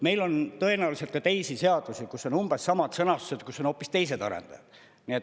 Meil on tõenäoliselt ka teisi seadusi, kus on umbes samad sõnastused, kus on hoopis teised arendajad.